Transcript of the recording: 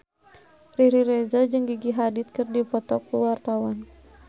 Riri Reza jeung Gigi Hadid keur dipoto ku wartawan